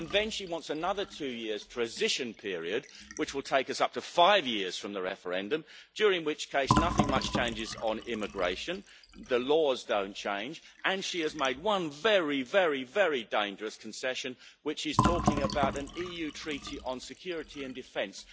And then she wants another two years transition period, which will take us up to five years from the referendum, during which case nothing much changes on immigration, the laws don't change, and she has made one very, very, very dangerous concession, which is talking about an EU treaty on security and defence.